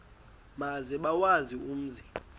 maze bawazi umzi